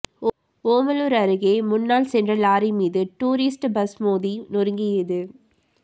ஓமலூர் அருகே முன்னால் சென்ற லாரி மீது டூரிஸ்ட் பஸ் மொதி நொறுங்கியது